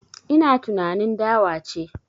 Ina tunanin dawa ce